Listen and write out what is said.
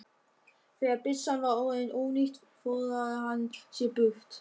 Þegar byssan var orðin ónýt forðaði hann sér burt.